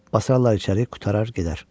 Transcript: Basarlar içəri, qurtarar gedər.